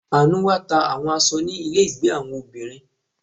Anu wá ta àwọn aṣọ ni ile ìgbé àwọn obìnrin.